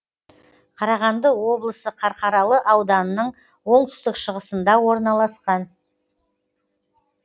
қарағанды облысы қарқаралы ауданының оңтүстік шығысында орналасқан